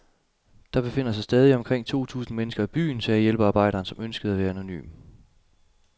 Der befinder sig stadig omkring to tusind mennesker i byen, sagde hjælpearbejderen, som ønskede at være anonym.